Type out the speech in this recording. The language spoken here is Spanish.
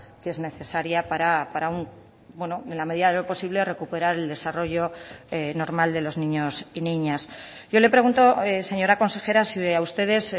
que es necesaria para en la medida de lo posible recuperar el desarrollo normal de los niños y niñas yo le pregunto señora consejera si a ustedes